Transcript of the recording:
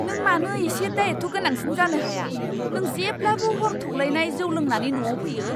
नों मानो एसे दायथ' गोनांसिन जानो हाया! नों जेब्लाबो हर थौलायनाय जौ लोंनानै न'आव फैयो!